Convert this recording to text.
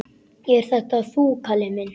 Ert þetta þú, Kalli minn!